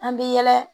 An bɛ yɛlɛ